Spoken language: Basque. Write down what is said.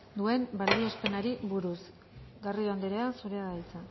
duen balioespenari buruz garrido anderea zurea da hitza